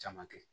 Caman kɛ